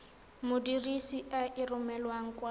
modirisi a e romelang kwa